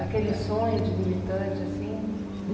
Aquele sonho de militante assim?